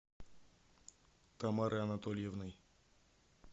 тамарой анатольевной